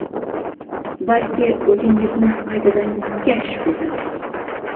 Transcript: balki o‘zingizni qaytadan kashf etasiz!.